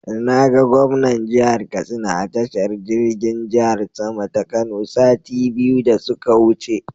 Na ga gwamnan jihar Katsina a tashar jirgin jihar sama ta Kano sati biyu da su ka wuce.